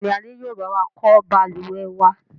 Bẹ́ẹ̀ni, Adé yìí ó bá wà kọ́ Balùwẹ̀ wa.